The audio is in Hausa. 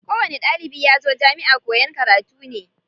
Ko wani ɗalibi yazo jamiʼa koyan karatu ne.